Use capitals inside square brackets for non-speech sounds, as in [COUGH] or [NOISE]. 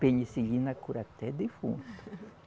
Penicilina cura até defunto. [LAUGHS]